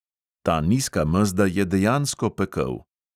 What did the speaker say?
Ta nizka mezda je dejansko pekel.